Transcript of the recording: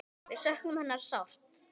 Við söknum hennar sárt.